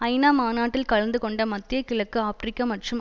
ஐநாமாநாட்டில் கலந்து கொண்ட மத்திய கிழக்கு ஆபிரிக்கா மற்றும்